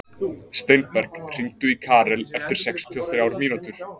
Steinberg, hringdu í Karel eftir sextíu og þrjár mínútur.